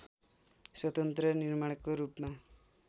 स्वतन्त्र निर्माणको रूपमा